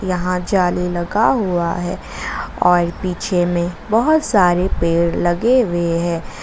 यहां जाली लगा हुआ है और पीछे में बहुत सारे पेड़ लगे हुए हैं।